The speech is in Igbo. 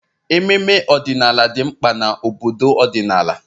Ememe ọdịnala dị mkpa na obodo ọdịnala